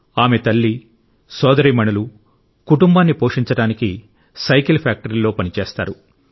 ఆమె తల్లి సోదరీమణులు కుటుంబాన్ని పోషించడానికి సైకిల్ ఫ్యాక్టరీలో పనిచేస్తారు